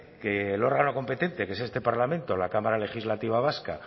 que el órgano competente que es este parlamento la cámara legislativa vasca